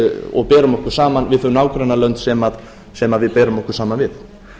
og berum okkur saman við þau nágrannalönd sem við berum okkur saman við